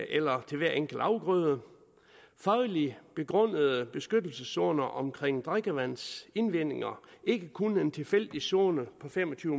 eller til hver enkelt afgrøde fagligt begrundede beskyttelseszoner omkring drikkevandsindvendinger ikke kun en tilfældig zone på fem og tyve